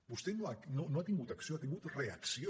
vostè no ha tingut acció ha tingut reacció